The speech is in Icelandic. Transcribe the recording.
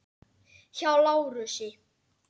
Hjá Lárusi.